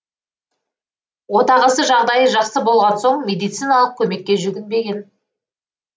отағасы жағдайы жақсы болған соң медициналық көмекке жүгінбеген